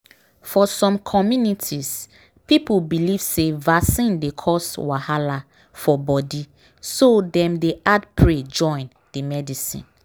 for some communities people believe say vaccine dey cause wahala for body so dem dey add pray join the medicine.